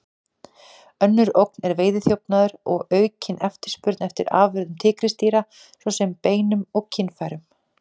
Önnur ógn er veiðiþjófnaður og aukin eftirspurn eftir afurðum tígrisdýra, svo sem beinum og kynfærum.